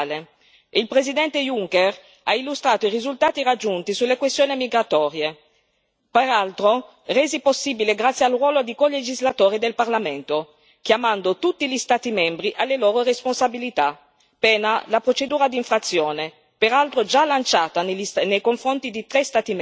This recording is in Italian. e il Presidente Juncker ha illustrato i risultati raggiunti sulle questioni migratorie, peraltro resi possibili grazie al ruolo di colegislatore del Parlamento, chiamando tutti gli Stati membri alle loro responsabilità, pena la procedura di infrazione, peraltro già lanciata nei confronti di tre Stati membri.